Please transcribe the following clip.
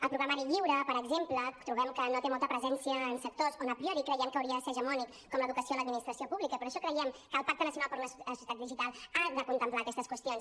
el programari lliure per exemple trobem que no té molta presència en sectors on a priori creiem que hauria de ser hegemònic com a l’educació o l’administració pública i per això creiem que el pacte nacional per a la societat digital ha de contemplar aquestes qüestions